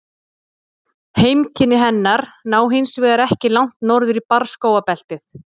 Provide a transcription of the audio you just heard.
Heimkynni hennar ná hins vegar ekki langt norður í barrskógabeltið.